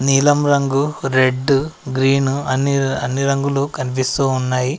నీలం రంగు red green అన్ని అన్ని రంగులు కనిపిస్తూ ఉన్నాయి.